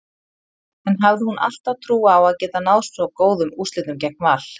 En hafði hún alltaf trú á að geta náð svo góðum úrslitum gegn Val?